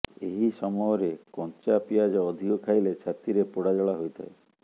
ଏହି ସମୟରେ କଂଚା ପିଆଜ ଅଧିକ ଖାଇଲେ ଛାତିରେ ପୋଡ଼ାଜଳା ହୋଇଥାଏ